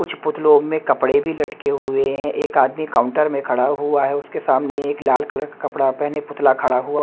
कुछ पुतलों में कपड़े भी लटके हुए हैं एक आदमी काउंटर में खड़ा हुआ है उसके सामने एक लाल कलर कपड़ा पहने पुतला खड़ा हुआ--